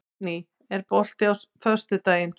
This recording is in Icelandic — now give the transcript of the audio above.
Aldný, er bolti á föstudaginn?